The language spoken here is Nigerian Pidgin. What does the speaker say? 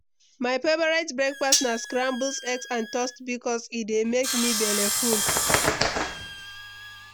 My favorite breakfast na scrambled eggs and toast bikos e dey make me belleful.